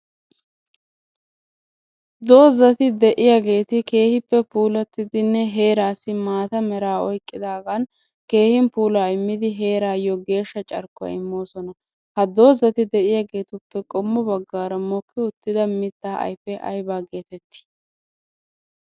Doozati.de'iyageeti keehippe puulattidinne heeraassi maata meraa oyqqidaagan keehin puulaa immidi heeraayyo geeshsha carkkuwa immoosona. Ha doozati de'iyageetuppe qommo baggaara mokki uttida mittaa ayfee aybaa geetettii?